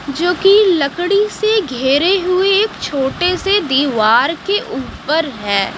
जो कि लकड़ी से घेरे हुए एक छोटे से दीवार के ऊपर है।